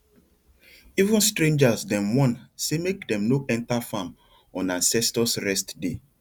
even strangers dem warn say make dem no enter farm on ancestors rest day